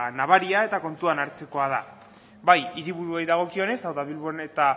nabaria eta kontutan hartzekoa da bai hiriburuei dagokienez hau da bilbo eta